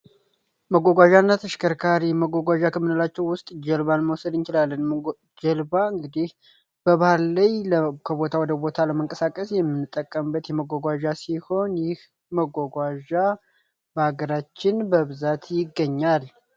መጓጓዣ እና ተሽከርካሪ መጓጓዣ ከምንላቸው ውስጥ ውስጥ ጀልባን መውሰድ እንችላለን። ጀልባ እንግዲህ ላይ ከቦታው ወደቦታ ለመንቀሳቀስ የምንጠቀምበት የመጓጓዛ ሲሆን ይህ መጓጓዣ በሀገራችን በብዛት ይገኛል